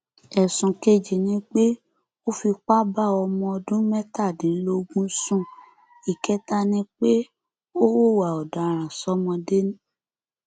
ẹsùn kejì ni pé ó fipá bá ọmọ ọdún mẹtàdínlógún sún ìkẹta ni pé ó hùwà ọdaràn ṣọmọdé